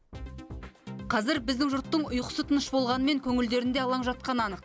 қазір біздің жұрттың ұйқысы тыныш болғанымен көңілдерінде алаң жатқаны анық